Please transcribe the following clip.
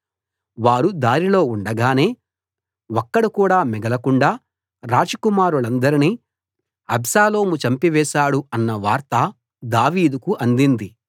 వారు దారిలో ఉండగానే ఒక్కడు కూడా మిగలకుండా రాజకుమారులందరినీ అబ్షాలోము చంపివేశాడు అన్న వార్త దావీదుకు అందింది